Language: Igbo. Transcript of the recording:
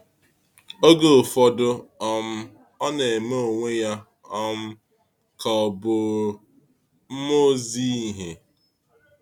Oge ụfọdụ, um ọ na-eme onwe ya um ka ọ bụrụ “mmụọ ozi ìhè.” um